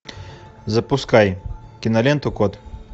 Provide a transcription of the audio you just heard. запускай киноленту кот